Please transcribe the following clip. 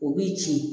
O b'i ci